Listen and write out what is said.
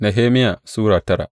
Nehemiya Sura tara